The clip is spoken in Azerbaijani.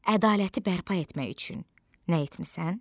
Ədaləti bərpa etmək üçün nə etmisən?